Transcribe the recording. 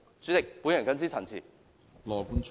主席，我謹此陳辭。